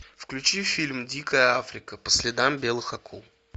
включи фильм дикая африка по следам белых акул